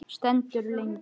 Stendur lengi.